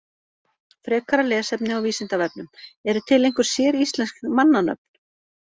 Frekara lesefni á Vísindavefnum: Eru til einhver séríslensk mannanöfn?